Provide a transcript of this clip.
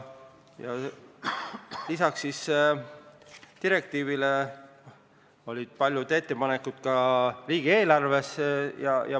Lisaks direktiivile olid paljud ettepanekud ka riigieelarves.